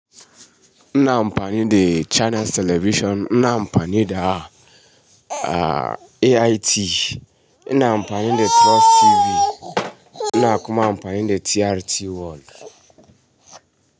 Ina amfani da Channels Television, ina amfani da AIT, ina amfani da Trust TV, ina kuma amfani da TRT World.